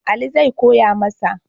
Ali zai koya masa.